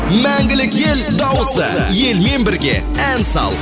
мәңгілік ел дауысы елмен бірге ән сал